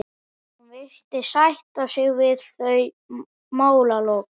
Hún virðist sætta sig við þau málalok.